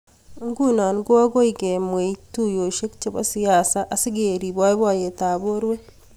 nguno koagoi kemweei tuiyoshek chebo siaset asikeriip boiboiyetab borwek